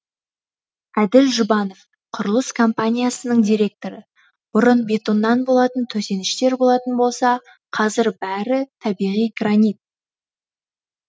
әділ жұбанов құрылыс компаниясының директоры бұрын бетоннан болатын төсеніштер болатын болса қазір бәрі табиғи гранит